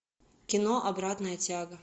кино обратная тяга